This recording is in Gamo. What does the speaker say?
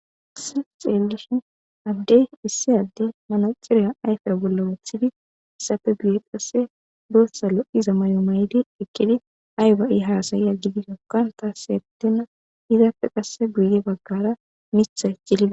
as xeellishin addey issi adde manaxiriya ayfera bolla woothidi issafe bi7e qasse doossa lo7iza may7o maydi ekkidi ayba7i haasayiya gidi dokkan taaseetena hidappe qasse guye baggara mitha icilida